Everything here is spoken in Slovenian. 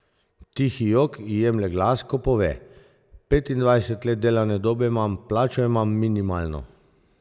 Tihi jok ji jemlje glas, ko pove: "Petindvajset let delovne dobe imam, plačo imam, minimalno.